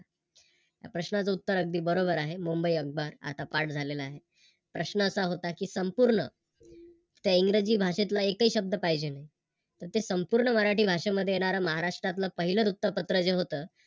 या प्रश्नाचं उत्तर अगदी बरोबर आहे, मुंबई अकबार आता पाठ झालेल आहे. प्रश्न असा होता की संपूर्ण त्या इंग्रजी भाषेतला एकही शब्द पाहिजे नाही तर ते संपूर्ण मराठी भाषेमध्ये येणार महाराष्ट्रातल पहिलं वृत्तपत्र जे होत